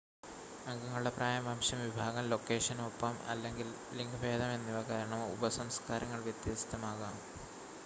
അംഗങ്ങളുടെ പ്രായം വംശം വിഭാഗം ലൊക്കേഷൻ ഒപ്പം/അല്ലെങ്കിൽ ലിംഗഭേദം എന്നിവ കാരണം ഉപസംസ്ക്കാരങ്ങൾ വ്യത്യസ്തമാകാം